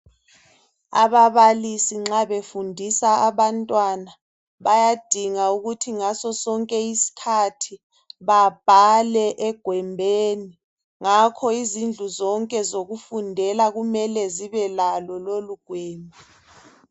Ababalisi nxa befundisa abantwana bayadinga ukuthi ngasonke isikhathi babhale egwembheni ngakho izindlu zonke zokufundela kumele zibe lalo lolu gwembhe.